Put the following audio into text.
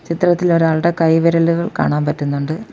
ചിത്രത്തിൽ ഒരാളുടെ കൈവിരലുകൾ കാണാൻ പറ്റുന്നുണ്ട്.